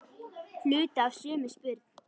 Hluti af sömu spurn.